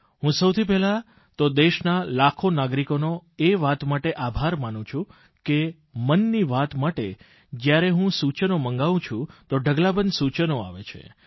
હું સૌથી પહેલા તો દેશના લાખો નાગરિકોનો એ વાત માટે આભાર માનું છું કે મનની વાત માટે જયારે હું સૂચનો મંગાવું છું તો ઢગલાબંધ સૂચનો આવે છે